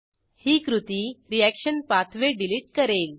ही कृती reaction pathway delete करेल